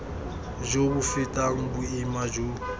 jo bo fetang boima jo